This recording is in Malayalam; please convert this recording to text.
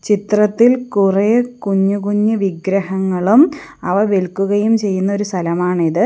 ചിത്രത്തിൽ കുറെ കുഞ്ഞു കുഞ്ഞു വിഗ്രഹങ്ങളും അവ വിൽക്കുകയും ചെയ്യുന്ന ഒരു സ്ഥലമാണിത്.